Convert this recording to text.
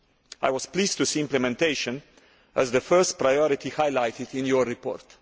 I was pleased to see implementation as the first priority highlighted in your report.